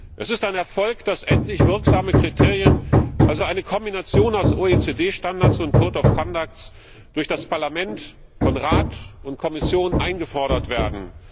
Es ist ein Erfolg, dass endlich wirksame Kriterien also eine Kombination aus OECD Standards und Verhaltenskodizes durch das Parlament von Rat und Kommission eingefordert werden.